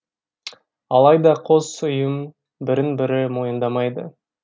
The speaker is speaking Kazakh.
алайда қос ұйым бірін бірі мойындамайды